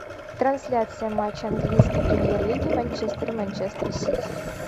трансляция матча английской премьер лиги манчестер и манчестер сити